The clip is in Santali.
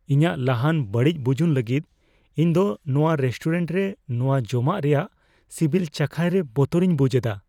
ᱤᱧᱟᱜ ᱞᱟᱦᱟᱱ ᱵᱟᱹᱲᱤᱡ ᱵᱩᱡᱩᱱ ᱞᱟᱹᱜᱤᱫ ᱤᱧ ᱫᱚ ᱱᱚᱣᱟ ᱨᱮᱥᱴᱩᱨᱮᱱᱴ ᱨᱮ ᱱᱚᱣᱟ ᱡᱚᱢᱟᱜ ᱨᱮᱭᱟᱜ ᱥᱤᱵᱤᱞ ᱪᱟᱠᱷᱟᱭ ᱨᱮ ᱵᱚᱛᱚᱨᱤᱧ ᱵᱩᱡᱷ ᱮᱫᱟ ᱾